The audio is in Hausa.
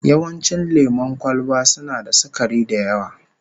Yawancin lemon kwalba suna da sukari da yawa